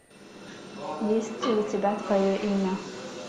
есть ли у тебя твое имя